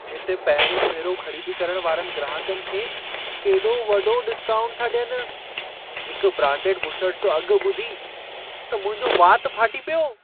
हिते पहिरियों भेरो ख़रीदी करण वारनि ग्राहकनि खे केॾो वॾो डिस्काउंट था ॾियनि। हिक ब्रांडेड बुशर्ट जो अघि ॿुधी त मुंहिंजो वात फाटी पियो।